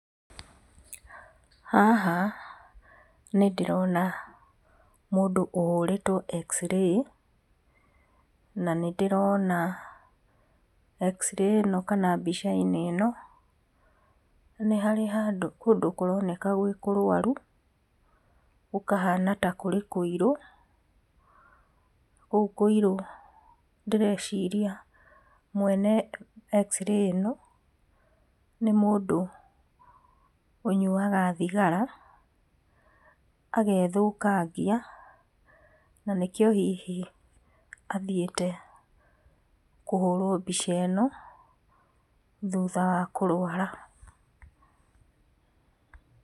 Haha nĩ ndĩrona mũndũ ũhũrĩtwo x-ray na nĩndĩrona x-ray ĩno kana mbica ĩno nĩ harĩ handũ kũroneka kũrĩ kũrwaru gũkahana tarĩ kũirũ. Gũkũ kũirwo ndĩreciria mwene xray ĩno nĩ mũndũ ũnyuaga thigara agethũkangia na nĩkĩo hihi athiĩte kũhũrwo mbica ĩno thutha wa kũrũara.